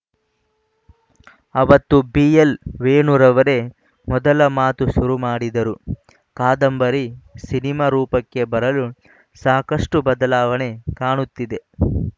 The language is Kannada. ಅವತ್ತು ಬಿಎಲ್‌ ವೇಣುರವರೇ ಮೊದಲು ಮಾತು ಶುರು ಮಾಡಿದರು ಕಾದಂಬರಿ ಸಿನಿಮಾ ರೂಪಕ್ಕೆ ಬರಲು ಸಾಕಷ್ಟುಬದಲಾವಣೆ ಕಾಣುತ್ತಿದೆ